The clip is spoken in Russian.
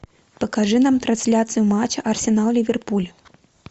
покажи нам трансляцию матча арсенал ливерпуль